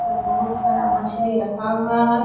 कम बहुत सारा मछली रखा हुआ है।